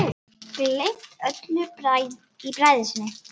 Gleymt öllu í bræði sinni.